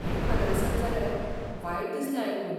हें खरें आसत जाल्यार, वायट दिसलें आयकून.